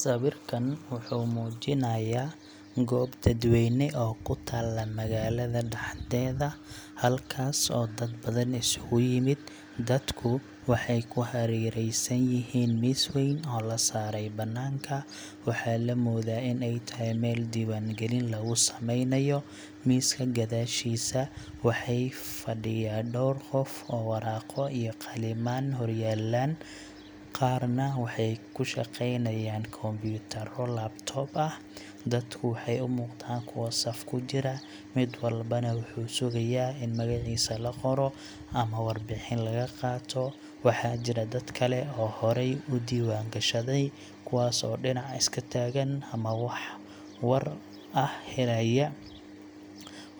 Sawirkan wuxuu muujinayaa goob dadweyne oo ku taalla magaalada dhexdeeda, halkaas oo dad badan isugu yimid. Dadku waxay ku hareereysan yihiin miis weyn oo la saaray banaanka waxaa la moodaa in ay tahay meel diiwaangelin lagu sameynayo. Miiska gadaashiisa waxaa fadhiya dhowr qof oo waraaqo iyo qalimaan hor yaallaan, qaarna waxay ku shaqeynayaan kumbuyuutarro cs]laptop ah. Dadku waxay u muuqdaan kuwo saf ku jira, mid walbana wuxuu sugayaa in magaciisa la qoro ama warbixin laga qaato. Waxaa jira dad kale oo horey u diiwaangashaday, kuwaas oo dhinac iska taagan ama wax war ah helaya.